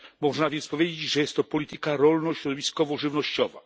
Można więc powiedzieć, że jest to polityka rolno środowiskowo żywnościowa.